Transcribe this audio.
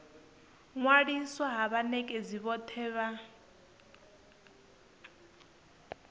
ṅwaliswa ha vhanekedzi vhothe vha